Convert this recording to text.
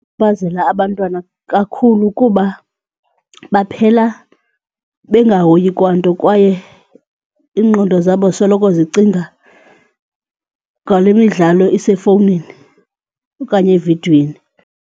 abantwana kakhulu kuba baphela bengahoyi kwanto kwaye iingqondo zabo soloko zicinga ngale midlalo isefowunini okanye evidweni.